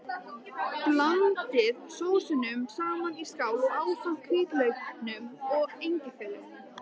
Blandið sósunum saman í skál ásamt hvítlauknum og engifernum.